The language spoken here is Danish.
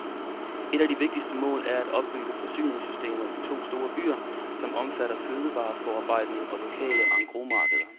Et af de vigtigste mål er at opbygge forsyningssystemer i de store byer, som omfatter fødevareforarbejdning og lokale engrosmarkeder.